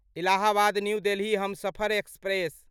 Allahabad new Delhi Humsafar express